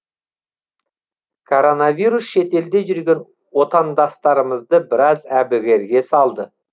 коронавирус шетелде жүрген отандастарымызды біраз әбігерге салды